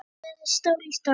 Hún væri stál í stál.